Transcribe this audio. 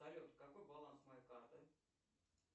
салют какой баланс моей карты